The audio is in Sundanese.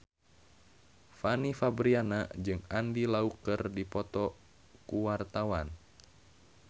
Fanny Fabriana jeung Andy Lau keur dipoto ku wartawan